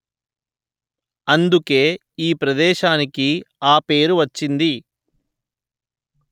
అందుకే ఈ ప్రదేశానికి ఆ పేరు వచ్చింది